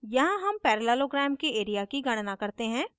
यहाँ हम parallelogram के area की गणना करते हैं